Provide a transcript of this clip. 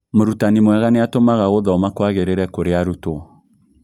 Mũrutani mwega nĩatũmaga gũthoma kwagĩrĩre kũrĩ arutwo